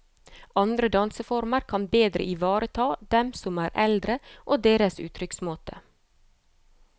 Andre danseformer kan bedre ivareta dem som er eldre og deres uttrykksmåte.